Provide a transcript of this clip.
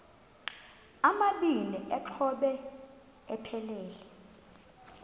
amabini exhobe aphelela